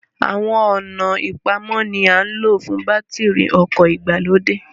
Àwọn ọ̀nà ìpamọ́ ni à ń lò fún bátìrì ọkọ̀ ìgbàlódé